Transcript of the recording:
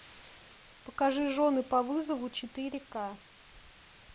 покажи жены по вызову четыре ка